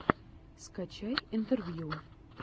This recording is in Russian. скачай интервью